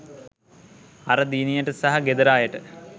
අර දියණියට සහ ගෙදර අයට